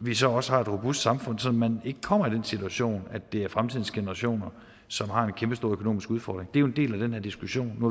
vi så også har et robust samfund sådan at man ikke kommer i den situation at det er fremtidens generationer som har en kæmpestor økonomisk udfordring er jo en del af den her diskussion nu